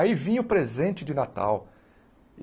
Aí vinha o presente de Natal.